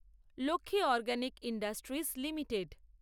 Lakshmi organic industries limited